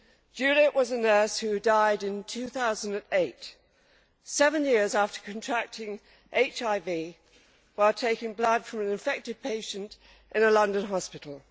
Juliet was a nurse who died in 2008, seven years after contracting HIV while taking blood from an infected patient in a London hospital.